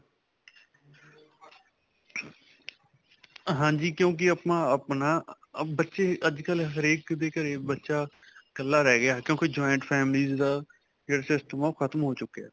ਹਾਂਜੀ, ਕਿਉਂਕਿ ਆਪਾਂ ਆਪਣਾ ਅਅ ਬੱਚੇ ਅੱਜਕਲ੍ਹ ਹਰੇਕ ਦੇ ਘਰੇ ਬੱਚਾ ਕੱਲਾ ਰਿਹ ਗਿਆ ਕਿਉਂਕਿ joint families ਦਾ ਜਿਹੜਾ system ਹੈ, ਓਹ ਖਤਮ ਹੋ ਚੁਕਇਆ.